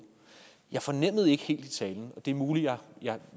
jeg fornemmede ikke helt af talen og det er muligt at jeg